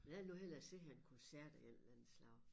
Jeg vil nu hellere se en koncert af en eller anden slags